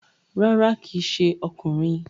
Rárá, kíì ṣe ọkùnrin